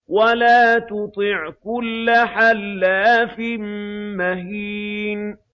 وَلَا تُطِعْ كُلَّ حَلَّافٍ مَّهِينٍ